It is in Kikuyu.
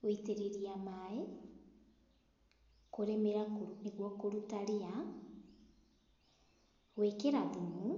Gũitĩrĩria maĩ, kũrĩmĩra nĩguo kũruta ria, gũĩkĩra thumu,